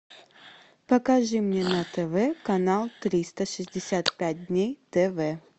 покажи мне на тв канал триста шестьдесят пять дней тв